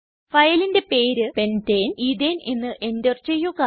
ഫയലിന്റെ പേര് pentane ethane എന്ന് എന്റർ ചെയ്യുക